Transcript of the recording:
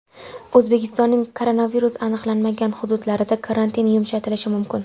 O‘zbekistonning koronavirus aniqlanmagan hududlarida karantin yumshatilishi mumkin.